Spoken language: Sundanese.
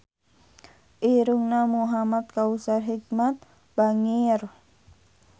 Irungna Muhamad Kautsar Hikmat bangir